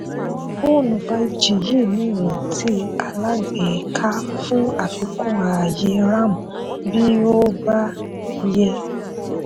fóònù five g yìí ní iranti alágbèéká fún àfikún ààyè ram bí ó ó bá yẹ.